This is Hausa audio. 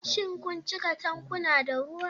Shin kun cika tankuna da ruwa?